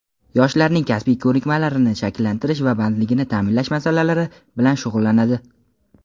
yoshlarning kasbiy ko‘nikmalarini shakllantirish va bandligini ta’minlash masalalari bilan shug‘ullanadi.